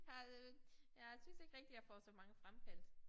Har øh jeg synes ikke rigtig jeg får så mange fremkaldt